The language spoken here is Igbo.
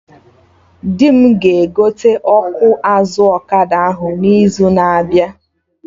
Di m ga-egote ọkụ azụ ọkada ahụ n'izu na abịa